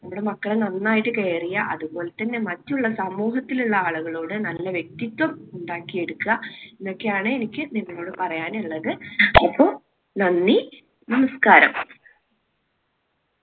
നമ്മുടെ മക്കളെ നന്നായിട്ട് care ചെയ്യുക. അതുപോലെ തന്നെ മറ്റുള്ള സമൂഹത്തിലുള്ള ആളുകളോട് നല്ല വ്യക്തിത്വം ഉണ്ടാക്കിയെടുക്കുക. ഇതൊക്കെയാണ് എനിക്ക് നിങ്ങളോട് പറയാനുള്ളത് അപ്പോ നന്ദി! നമസ്കാരം.